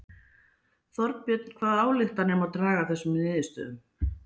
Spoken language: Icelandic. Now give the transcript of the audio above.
Þorbjörn hvaða ályktanir má draga af þessum niðurstöðum?